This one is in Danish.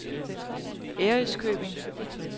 Ærøskøbing